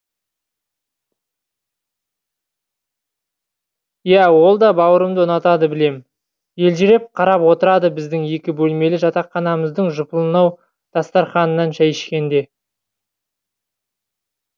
иә ол да бауырымды ұнатады білем елжіреп қарап отырады біздің екі бөлмелі жатақханамыздың жұпынылау дастарханынан шәй ішкенде